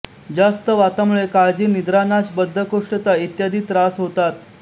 जास्त वातामुळे काळजी निद्रानाश बद्धकोष्ठता इत्यादी त्रास होतात